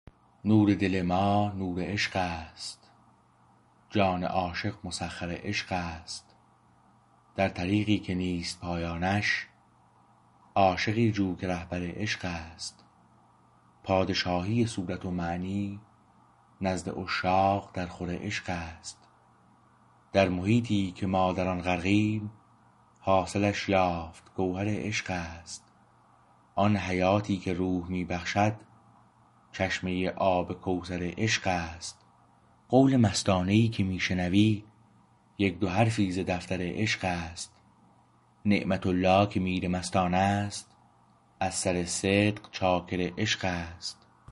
نور دل ماه نور عشق است جان عاشق مسخر عشقست در طریقی که نیست پایانش عاشقی جو که رهبر عشقست پادشاهی صورت و معنی نزد عشاق در خور عشقست در محیطی که ما در آن غرقیم حاصلش یافت گوهر عشقست آن حیاتی که روح می بخشد چشمه آب کوثر عشق است قول مستانه ای که می شنوی یک دو حرفی ز دفتر عشقست نعمت الله که میرمستانست از سر صدق چاکر عشقست